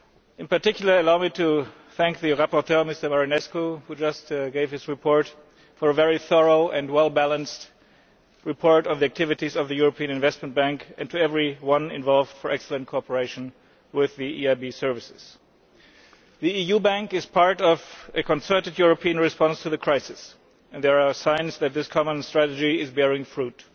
In particular, allow me to thank the rapporteur, Mr Marinescu, who just presented his report, for a very thorough and well balanced report on the activities of the European Investment Bank, and everyone else involved for the excellent cooperation with the EIB's services. The EU bank is part of a concerted European response to the crisis, and there are signs that this common strategy is bearing fruit.